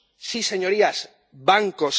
Sí, señorías, bancos.